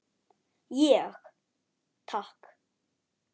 Ég: Takk.